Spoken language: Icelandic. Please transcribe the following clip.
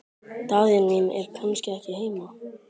Daðína mín er kannski ekki heima?